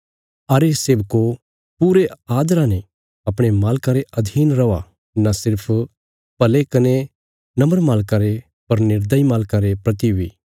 अरे सेवको पूरे आदरा ने अपणे मालकां रे अधीन रौआ न सिर्फ भले कने नम्र मालकां रे पर निर्दयी मालकां रे प्रति बी